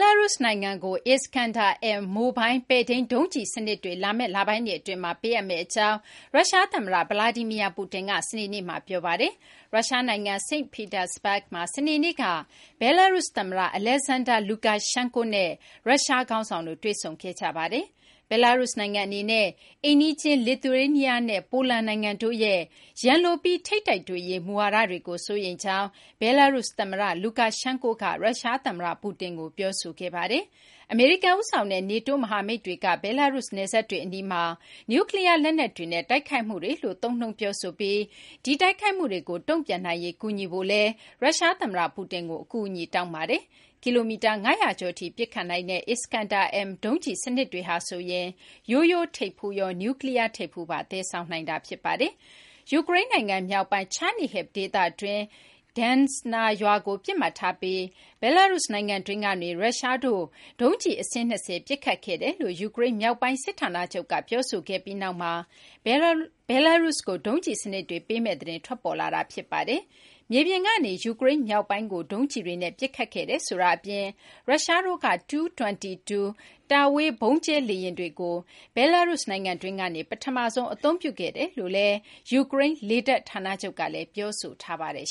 လာရုစ် နိုင်ငံကို Islander-M မိုလ်ဘိုင်း ပဲ့ထိန်း မစ်ဇိုင်းဒုံးစနစ် လာမယ့် လပိုင်းတွေ အတွင်းမှာ ပေးအပ်မယ့် အကြောင်း ရုရှားသမ္မတ Vladimir Putin က စနေနေ့မှာ ပြောပါတယ်။ ရုရှား နိုင်ငံ စိန့်ပီတာစဘဂ်မှာ စနေနေ့က ဘယ်လာရုစ် သမ္မတ Alexander Lukashenko နဲ့ ရုရှားခေါင်းဆောင်တို့ တွေ့ဆုံခဲ့ကြတာ ဖြစ်ပါတယ်။ ဘဲလာရုစ် နိုင်ငံ အနေနဲ့ အိမ်နီးချင်း လစ်သူရေးနီးယားနဲ့ ပိုလန်နိုင်ငံတို့ရဲ့ ရန်လိုပြီး ထိပ်တိုက်တွေ့ရေး မူဝါဒတွေကို စိုးရိမ်ကြောင်း ဘဲလာရုစ် သမ္မတ Lukanshenko က ရုရှား သမ္မတ Putin ကို ပြောဆိုခဲ့တာပါ။ အမေရိကန် ဦးဆောင်တဲ့ NATO မဟာမိတ်တွေက ဘဲလာရုစ် နယ်စပ်တွေ အနီးမှာ နျူးကလီးယား လက်နက်တွေနဲ့ တိုက်ခိုက်မှုတွေလို့ သုံးနှုန်းပြောဆိုပြီး အဲဒီ တိုက်ခိုက်မှုတွေကို တုံ့ပြန်နိုင်ရေး ကူညီဖို့လည်း ရုရှားသမ္မတ Putin ကို အကူအညီ တောင်းပါတယ်။ ကီလိုမီတာ ၅၀၀ ကျော်ထိ ပစ်ခတ်နိုင်တဲ့ Iskander-M ဒုံးကျည် စနစ်တွေဟာဆိုရင် ရိုးရိုး ထိပ်ဖူးရော နျူးကလီးယား ထိပ်ဖူးပါ သယ်ဆောင်နိုင်တာ ဖြစ်ပါတယ်။ ယူကရိန်းနိုင်ငံ မြောက်ပိုင်း Chernihiv ဒေသတွင်းက Desna ရွာကို ပစ်မှတ်ထားပြီး ဘဲလာရုစ် နိုင်ငံတွင်းကနေ ရုရှားတို့က ဒုံးကျည် အစင်း ၂၀ ပစ်ခတ်ခဲ့ကြောင်း ယူကရိန်း မြောက်ပိုင်း စစ်ဌာနချုပ်က ပြောဆိုခဲ့ပြီးနောက်မှာ ဘဲလာရုစ်ကို ဒုံးကျည်စနစ်တွေ ပေးမယ့်သတင်း ထွက်ပေါ်လာတာ ဖြစ်ပါတယ်။ မြေပြင်ကနေ ယူကရိန်း မြောက်ပိုင်းကို ဒုံးကျည်တွေနဲ့ ပစ်ခတ်ခဲ့တယ် ဆိုတာ အပြင် ရုရှားတို့က Tu-22 တာဝေး ဗုံးကျဲ လေယာဉ်တွေကို ဘဲလာရုစ် နိုင်ငံတွင်းကနေ ပထမဆုံး အသုံးပြုခဲ့ကြောင်း ယူကရိန်း လေတပ် ဌာနချုပ်ကလည်း ပြောဆိုထားပါတယ်